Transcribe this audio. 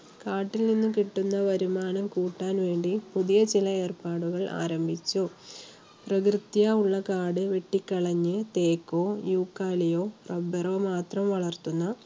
കാട്ടിൽ നിന്നും കിട്ടുന്ന വരുമാനം കൂട്ടാൻ വേണ്ടി പുതിയ ചില ഏർപ്പാടുകൾ ആരംഭിച്ചു. പ്രകൃത്യാ ഉള്ള കാട് വെട്ടിക്കളഞ്ഞ് തേക്കോ, Euclay യൊ rubber റോ മാത്രം വളർത്തുന്ന